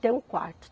Ter um quarto.